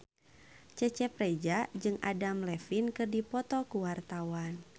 Cecep Reza jeung Adam Levine keur dipoto ku wartawan